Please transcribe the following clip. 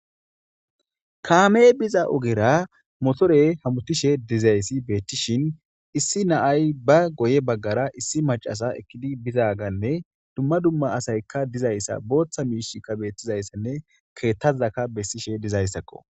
Kaame biza ogera motore hamutishe dizayssi beettishin issi naay ba goye baggara issi macasa ekkidi bizaganne dumma dumma asaykka dizayssa booththa miishikka beettizayssanne keettazaka bessishe dizayssakko.